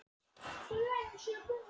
Sigmundur: Þetta er töluvert í vasann?